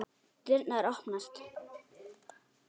Dyrnar opnast.